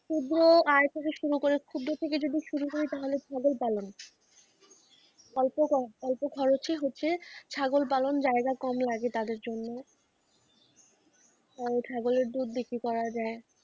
ক্ষুদ্র আয় থেকে শুরু করে ক্ষুদ্র থেকে যদি শুরু করি তাহলে সবই পালন অল্প অল্প খরচে হচ্ছে ছাগল পালন জায়গা কম লাগে তাদের জন্য কারণ ছাগলের দুধ বিক্রি করা যায়,